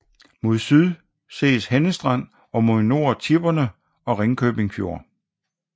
Mod syd ses Henne Strand og mod nord Tipperne og Ringkøbing Fjord